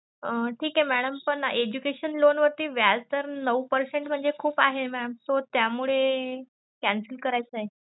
ठीक आहे madam पण ना education loan वरती व्याज दर नऊ percent म्हणजे खूप आहे mam so त्यामुळे cancel करायचंय.